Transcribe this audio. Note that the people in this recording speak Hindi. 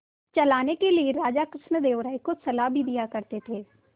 चलाने के लिए राजा कृष्णदेव राय को सलाह भी दिया करते थे